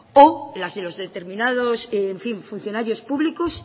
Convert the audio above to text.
o la de los determinados en fin funcionarios públicos